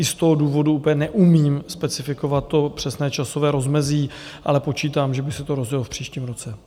I z toho důvodu úplně neumím specifikovat to přesné časové rozmezí, ale počítám, že by se to rozjelo v příštím roce.